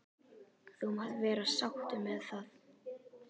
. þú mátt vera sáttur með það.